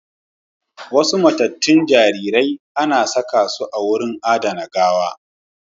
Wasu matattun jaririrai anasakasu a wurin adana gawa